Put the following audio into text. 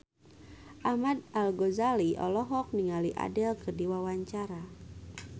Ahmad Al-Ghazali olohok ningali Adele keur diwawancara